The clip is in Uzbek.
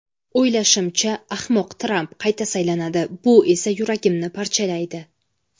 O‘ylashimcha, ahmoq Tramp qayta saylanadi, bu esa yuragimni parchalaydi.